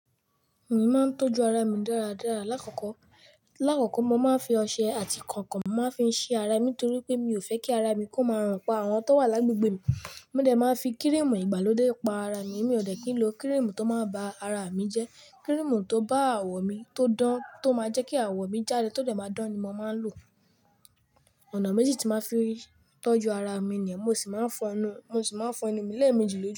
Èmi máa ń tọ́jú ara mi dáradára. Láàkọ́kọ́, láàkọ́kọ́ mo máa ń fi ọṣẹ àti kànkàn ma fi ń ṣí ara mi nítorí pé mi ò fẹ́ kí ara mi kó máa rùn pa àwọn tó wà lágbegbe mi. Mó de máa ń fi kírímù ìgbàlódé pa ara mi. Mi ò dẹ́kin lo kírímù tó máa ba ara mi jẹ́. Kírímù tó bá àwọ̀ mi tó dán, tó máa jẹ́ kí àwọ̀ mi jáde tó dé máa dán ni mo máa ń lò. Ọ̀nà méjì tí màá fi ń tọ́jú ara mi ni mo sì máa ń fọ inú, mo sì máa ń fọ inú mi léèmejì lójú.